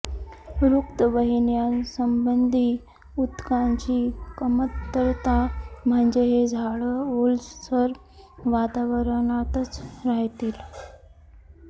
रक्तवहिन्यासंबंधी ऊतकांची कमतरता म्हणजे हे झाडं ओलसर वातावरणातच राहतील